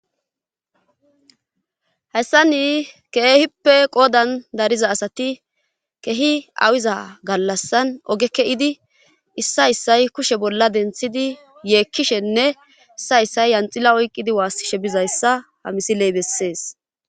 hayssa ni keehippe qoodan dariza asati keehi awiza gallassan ogeke7idi issayssay kushe bolla denthidi yeekkishenne issayssay yanxila oyqqidi waassishe bizayssa ha misiley bessees